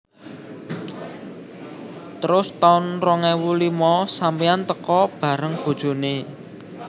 Terus taun rong ewu limo sampeyan teko bareng bojone